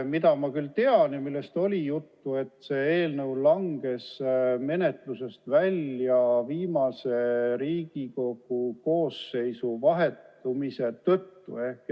Mida ma aga tean ja millest oli juttu, on see, et selleteemaline eelnõu langes menetlusest välja Riigikogu koosseisu vahetumise tõttu.